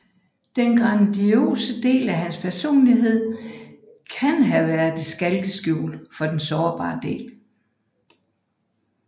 Den grandiose del af hans personlighed kan have været et skalkeskjul for den sårbare del